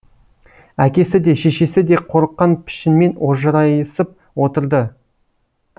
әкесі де шешесіде қорыққан пішінмен ожырайысып отырды